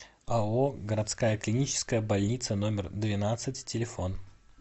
ао городская клиническая больница номер двенадцать телефон